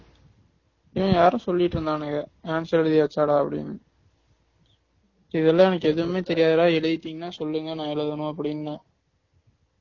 ஆஹ் யாரோ சொல்லிட்டு இருந்தானுங்க answer எழுதியாச்சாடானு அப்படினு இதெல்லாம் எனக்கு எதுமே தெரியாது டா எழுதிடிங்கனா சொல்லுங்க நான் எழுதனும் அப்படினு